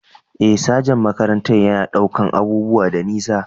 Eh, sajan makarantar yana ɗaukar abubuwa da nisa.